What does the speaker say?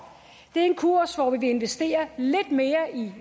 det er en kurs hvor vi investerer lidt mere i